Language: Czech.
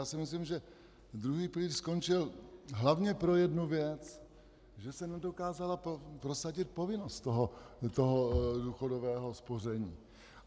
Já si myslím, že druhý pilíř skončil hlavně pro jednu věc - že se nedokázala prosadit povinnost toho důchodového spoření.